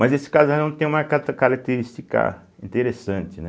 Mas esse casarão tem uma cata característica interessante, né?